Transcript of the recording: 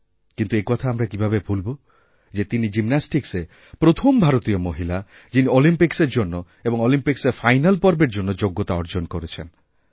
কিন্তু একথা আমরা কীভাবে ভুলব যে তিনি জিমন্যাস্টিক্সে প্রথম ভারতীয় মহিলা যিনিঅলিম্পিকসের জন্য এবং অলিম্পিক্সের ফাইনাল পর্বের জন্য যোগ্যতা অর্জন করেছেন